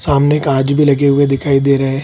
सामने कांच भी लगे हुए दिखाई दे रहे हैं।